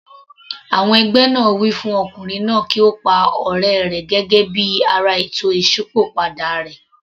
Àwọn ẹgbẹ́ náà wí fún Ọkùnrin náà kí ó pa ọ̀rẹ́ rẹ̀ gẹ́gẹ́ bí ara ètò Ìsópọ̀ padà rẹ̀.